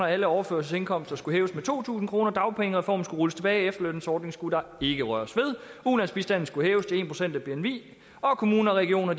alle overførselsindkomster skulle hæves med to tusind kr dagpengereformen skulle rulles tilbage efterlønsordningen skulle der ikke røres ved ulandsbistanden skulle hæves til en procent af bni og kommuner og regioner